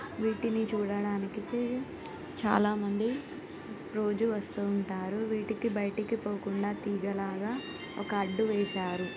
వీటిని చూడడానికే చాలా మంది రోజు వస్తూ ఉంటారు వీటికి బయటికి పోకుండా ఒక తీగలాగా అడ్డు వేశారు.